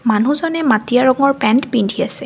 মানুহজনে মাটীয়া ৰঙৰ পেন্ট পিন্ধি আছে।